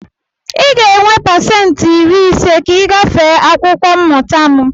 Ị ga-enwe pasentị iri ise ka ị gafee akwụkwọ mmụta m!